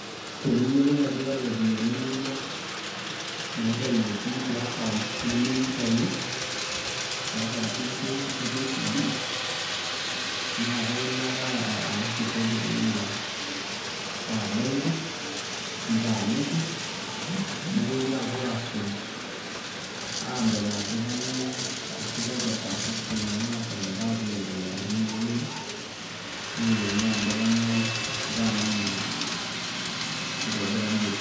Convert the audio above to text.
Teniyiolou ajo iata iropiyiani inonok naitayuoki te account nemeyia oitauo, te account e KCB naa kailo ake awosh ripoti tina benki nitaaniki nepuoi apuo aasuj aadol ajo kainyioo ashu kakwa transactions nena naashomoita aapuo aiendelea nemiyiolo iyie neyiolouni ajo kainyioo ashu kaa namuna itobirarieki.